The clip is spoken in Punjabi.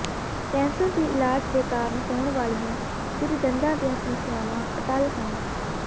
ਕੈਂਸਰ ਦੇ ਇਲਾਜ ਦੇ ਕਾਰਨ ਹੋਣ ਵਾਲੀਆਂ ਕੁਝ ਦੰਦਾਂ ਦੀਆਂ ਸਮੱਸਿਆਵਾਂ ਅਟੱਲ ਹਨ